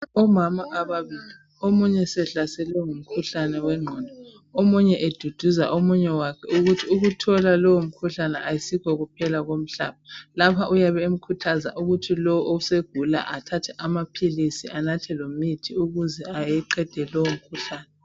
Omama ababili omunye sehlaselwe ngumkhuhlane wengqondo omunye eduduza omunye wakhe ukuthi ukuthola lowo mkhuhlane akusikho ukuphela komhlaba. Lapha uyabe emkhuthaza lo osegula athathe amaphilisi anathe lemithi ukuze aqede lowo mkhuhlane.